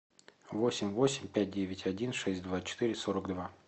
восемь восемь пять девять один шесть два четыре сорок два